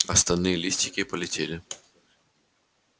остальные листики полетели